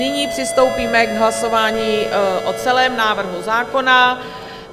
Nyní přistoupíme k hlasování o celém návrhu zákona.